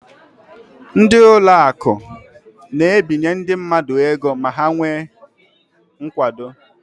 Ndị ụlọakụ na-ebinye ndị mmadụ ego ma ha nwee nkwado.